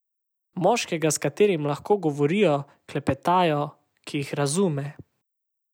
Moškega, s katerim lahko govorijo, klepetajo, ki jih razume.